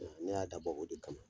Ɛ ne y'a da bɔ o de kama